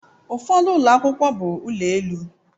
Ụfọdụ ụlọ akwụkwọ bụ ụlọ elu